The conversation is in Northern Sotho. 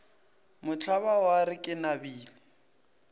mohlaba wa re ke nabile